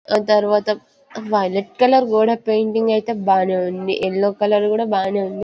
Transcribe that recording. ఆ తర్వాత వైలెట్ కూడా కలర్ పెయింటింగ్ అయితే బానే ఉంది ఎల్లో కలర్ కూడా బానే ఉంది .